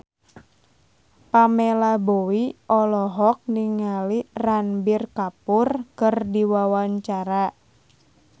Pamela Bowie olohok ningali Ranbir Kapoor keur diwawancara